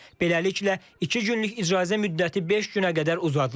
Beləliklə, iki günlük icazə müddəti beş günə qədər uzadılır.